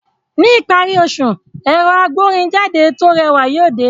Ní ìparí oṣù, ẹ̀rọ agbórinjáde tó rẹwà yóò dé